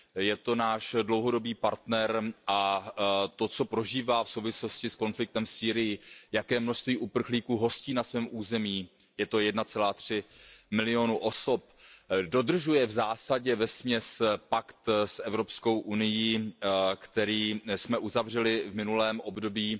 Je to náš dlouhodobý partner a to, co prožívá v souvislosti s konfliktem v Sýrii, jaké množství uprchlíků hostí na svém území, je to 1,3 milionu osob, dodržuje v zásadě pakt s Evropskou unií, který jsme uzavřeli v minulém období.